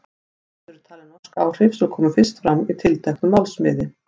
Þetta eru talin norsk áhrif sem komu fyrst fram í tilteknu málsniði.